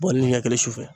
Bɔn ni kɛɲɛ si